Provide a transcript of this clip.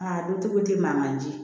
Aa dutigiw te manje